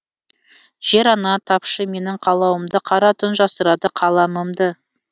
жер ана тапшы менің қалауымды қара түн жасырады қаламымды